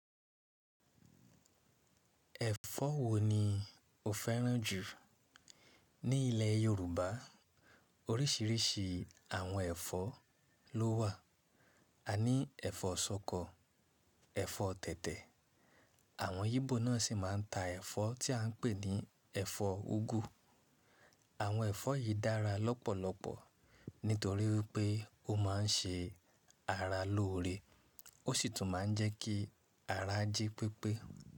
Ẹ̀fọ́ wo ni o fẹ́ràn jù? Ní ilẹ̀ Yorùbá oríṣiríṣi àwọn ẹ̀fọ́ ló wà. Aní ẹ̀fọ́ ṣọkọ, ẹ̀fọ́ tẹ̀tẹ̀, àwọn Igbo náà sì máa ń ta ẹ̀fọ́ tí à ń pè ní ẹ̀fọ́ úgú. Àwọn ẹ̀fọ́ yìí dára lọ́pọ̀lọpọ̀ nítorí pé ó máa ń ṣe ara lóore ósì tún máa ń jẹ́ kí ara jí pípé.